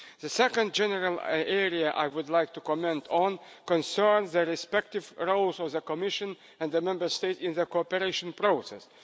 The second general area I would like to comment on concerns the respective roles of the Commission and the Member States in the cooperation process.